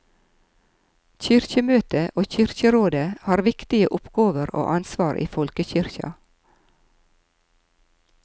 Kyrkjemøtet og kyrkjerådet har viktige oppgåver og ansvar i folkekyrkja.